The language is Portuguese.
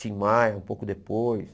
Tim Maia, um pouco depois.